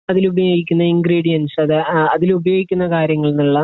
അതിലുപയോഗിക്കുന്ന ingredients, അതാ, അതിൽ ഉപയോഗിക്കുന്ന കാര്യങ്ങളിൽ നിന്നുള്ള